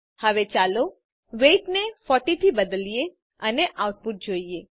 હવે ચાલો વેઇટ ને 40 થી બદલીએ અને આઉટપુટ જોઈએ